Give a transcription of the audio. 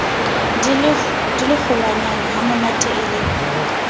di le kgolwanyanehamonate e le